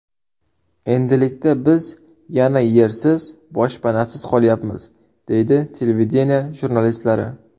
Endilikda biz yana yersiz, boshpanasiz qolyapmiz”, deydi televideniye jurnalistlari.